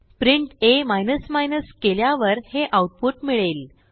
print आ केल्यावर हे आऊटपुट मिळेल